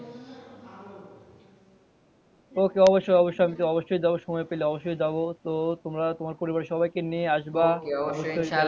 Okay অবশ্যই অবশ্যই আমি অবশ্যই যাবো সময় পেলে অবশ্যই যাবো তো তোমরা তোমাদের সমস্ত পরিবার কে নিয়ে আসবা,